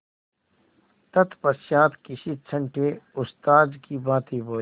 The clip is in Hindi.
तत्पश्चात किसी छंटे उस्ताद की भांति बोले